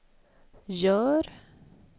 gör